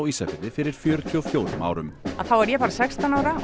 Ísafirði fyrir fjörutíu og fjórum árum þá var ég bara sextán ára